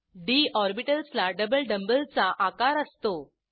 D orbitals ला दोन dumb bell चा आकार असतो